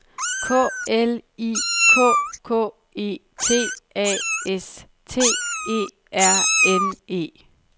K L I K K E T A S T E R N E